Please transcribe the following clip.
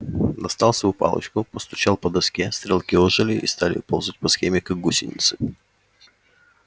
достал свою палочку постучал по доске стрелки ожили и стали ползать по схеме как гусеницы